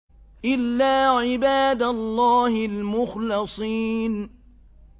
إِلَّا عِبَادَ اللَّهِ الْمُخْلَصِينَ